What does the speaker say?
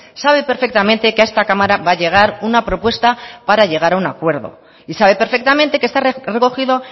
sabe perfectamente que a esta cámara va a llegar una propuesta para llegar a un acuerdo y sabe perfectamente que está recogido